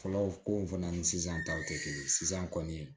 Fɔlɔ ko in fana ni sisan taw tɛ kelen ye sisan kɔni